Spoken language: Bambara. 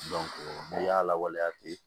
n'i y'a lawaleya ten